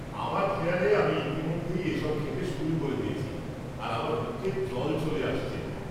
আমার খেয়ালে আমি ইতিমধ্যেই এসব খেতে শুরু করে দিয়েছি আর আমার মুখে জল চলে আসছে।